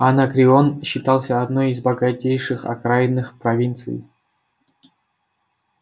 анакреон считался одной из богатейших окраинных провинций